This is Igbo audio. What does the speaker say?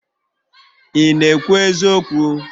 ị na-ekwu eziokwu?